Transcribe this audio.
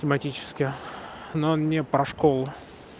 тематически но не про школу